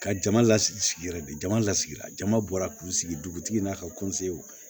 Ka jama lasigi sigi yɛrɛ de jama lasigila jama bɔra k'u sigi dugutigi in na ka